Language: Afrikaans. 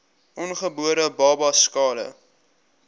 ongebore babas skade